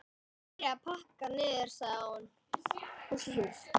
Ég byrja að pakka niður, sagði hún.